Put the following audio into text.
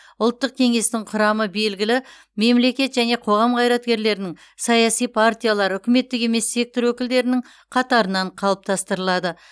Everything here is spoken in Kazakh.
ұлттық кеңестің құрамы белгілі мемлекет және қоғам қайраткерлерінің саяси партиялар үкіметтік емес сектор өкілдерінің қатарынан қалыптастырылады